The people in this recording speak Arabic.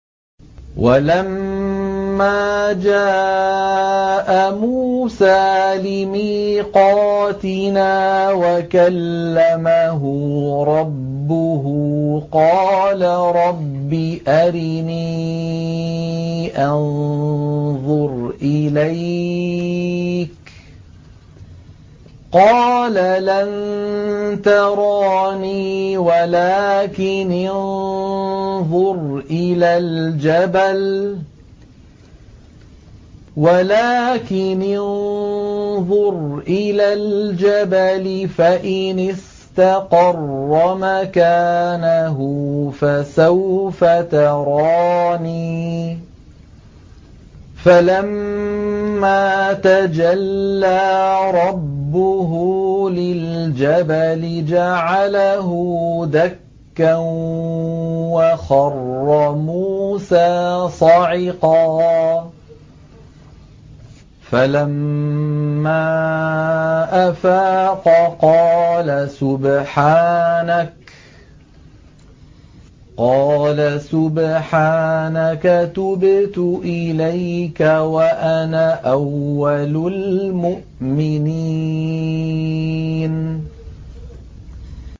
وَلَمَّا جَاءَ مُوسَىٰ لِمِيقَاتِنَا وَكَلَّمَهُ رَبُّهُ قَالَ رَبِّ أَرِنِي أَنظُرْ إِلَيْكَ ۚ قَالَ لَن تَرَانِي وَلَٰكِنِ انظُرْ إِلَى الْجَبَلِ فَإِنِ اسْتَقَرَّ مَكَانَهُ فَسَوْفَ تَرَانِي ۚ فَلَمَّا تَجَلَّىٰ رَبُّهُ لِلْجَبَلِ جَعَلَهُ دَكًّا وَخَرَّ مُوسَىٰ صَعِقًا ۚ فَلَمَّا أَفَاقَ قَالَ سُبْحَانَكَ تُبْتُ إِلَيْكَ وَأَنَا أَوَّلُ الْمُؤْمِنِينَ